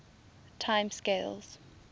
time scales